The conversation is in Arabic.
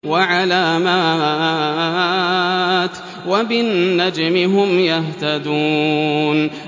وَعَلَامَاتٍ ۚ وَبِالنَّجْمِ هُمْ يَهْتَدُونَ